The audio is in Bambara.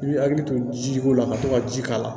I bɛ hakili to jidiko la ka to ka ji k'a la